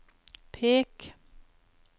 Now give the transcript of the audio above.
pek